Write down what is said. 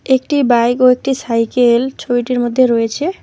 একটি বাইক ও একটি সাইকেল ছবিটির মধ্যে রয়েছে।